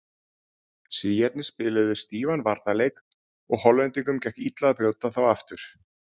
Svíarnir spiluðu stífan varnarleik og Hollendingum gekk illa að brjóta þá aftur.